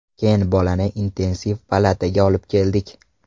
Keyin bolani intensiv palataga olib keldik.